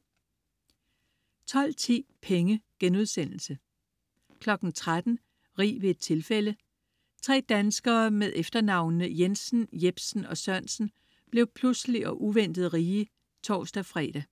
12.10 Penge* 13.00 Rig ved et tilfælde. Tre danskere med efternavnene Jensen, Jepsen og Sørensen blev pludseligt og uventet rige (tors-fre) 14.00